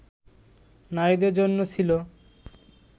নারীদের জন্য ছিল